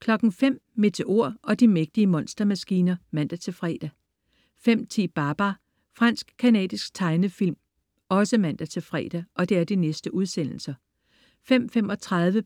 05.00 Meteor og de mægtige monstermaskiner (man-fre) 05.10 Babar. Fransk-canadisk tegnefilm (man-fre) 05.35